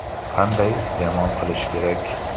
Qanday iste’mol qilish kerak?